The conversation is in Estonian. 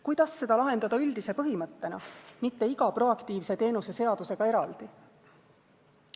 Kuidas seda lahendada üldise põhimõttena, mitte iga proaktiivse teenuse seadusega eraldi?